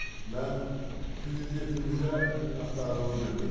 Mən prezidentimizə minnətdarlığımı bildirirəm.